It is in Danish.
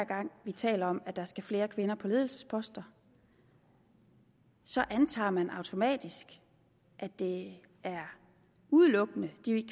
gang vi taler om at der skal flere kvinder på ledelsesposter så antager man automatisk at det udelukkende er